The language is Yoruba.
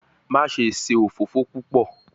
Maṣe ṣe ofofo pupọ